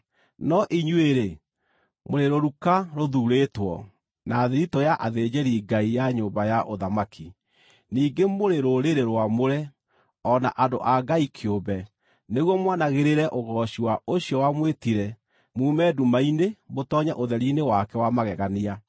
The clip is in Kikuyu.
No inyuĩ-rĩ, mũrĩ rũruka rũthuurĩtwo, na thiritũ ya athĩnjĩri-Ngai ya nyũmba ya ũthamaki, ningĩ mũrĩ rũrĩrĩ rwamũre, o na andũ a Ngai kĩũmbe, nĩguo mwanagĩrĩre ũgooci wa ũcio wamwĩtire muume nduma-inĩ mũtoonye ũtheri-inĩ wake wa magegania.